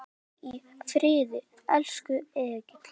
Hvíl í friði, elsku Egill.